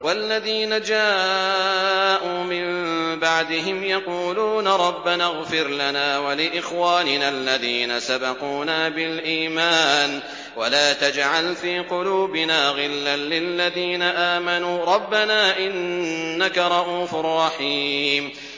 وَالَّذِينَ جَاءُوا مِن بَعْدِهِمْ يَقُولُونَ رَبَّنَا اغْفِرْ لَنَا وَلِإِخْوَانِنَا الَّذِينَ سَبَقُونَا بِالْإِيمَانِ وَلَا تَجْعَلْ فِي قُلُوبِنَا غِلًّا لِّلَّذِينَ آمَنُوا رَبَّنَا إِنَّكَ رَءُوفٌ رَّحِيمٌ